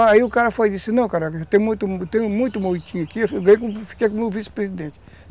Aí o cara foi e disse fiquei como vice-presidente.